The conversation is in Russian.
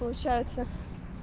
получается